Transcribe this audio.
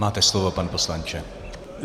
Máte slovo, pane poslanče.